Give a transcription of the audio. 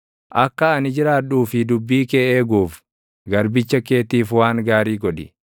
Akka ani jiraadhuu fi dubbii kee eeguuf, garbicha keetiif waan gaarii godhi.